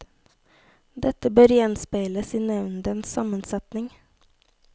Dette bør gjenspeiles i nevndens sammensetning.